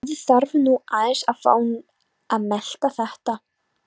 Maður þarf nú aðeins að fá að melta þetta.